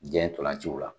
Jan tolanciw la